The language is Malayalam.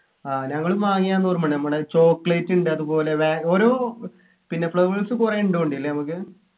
ആഹ് ഞങ്ങളും വാങ്ങിയാന്ന് ഓർമയുണ്ട് നമ്മുടെ chocolate ഉണ്ട് അതുപോലെ വെ ഓരോ പിന്നെ flavors കുറെ ഉണ്ട് തോന്നുണ്ട് അല്ലെ നമ്മക്ക്